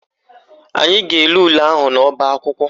Anyị ga-ele ule ahụ n'ọbaakwụkwọ